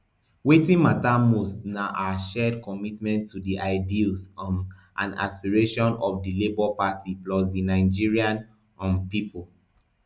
wetin mata most na our shared commitment to di ideals um and aspirations of di labour party plus di nigerian um pipo